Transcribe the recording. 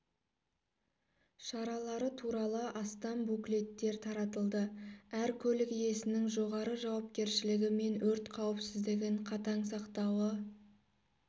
шаралары туралы астам буклеттер таратылды әр көлік иесінің жоғары жауапкершілігі мен өрт қауіпсіздігін қатаң сақтауы